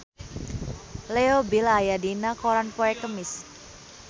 Leo Bill aya dina koran poe Kemis